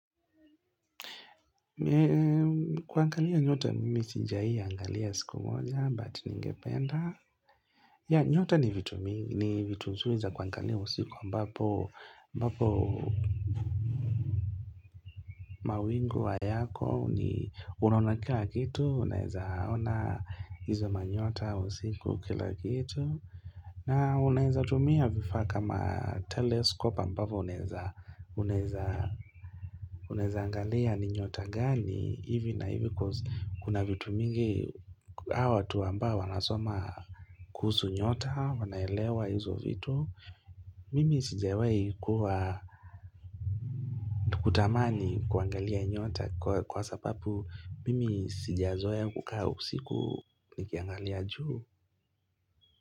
Kuangalia nyota mimi sijawai angalia siku moja but ningependa. Yeah, nyota ni vitu mzuri za kuangalia usiku ambapo, ambapo mawingu hayako ni, unaona kila kitu unaeza ona hizo manyota usiku, kila kitu. Na unaeza tumia vifaa kama telescope ambavyo unaeza unaeza angalia ni nyota gani hivi na hivi, coz kuna vitu mingi, hao watu ambao wanasoma kuhusu nyota wanaelewa hizo vitu. Mimi sijawai kuwa kutamani kuangalia nyota kwa sababu mimi sijazoea kukaa usiku nikiangalia juu.